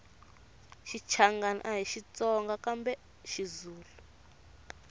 xichangani ahi xitsonga kambe xizulu